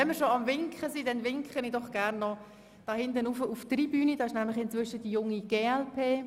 Wenn wir schon am Winken sind, dann möchte ich gleich auf der Tribüne die Jungen Grünliberalen begrüssen.